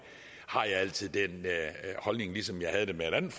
altså har den holdning ligesom jeg havde det med et andet